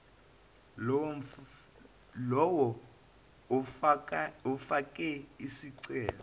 lowo ofake isicelo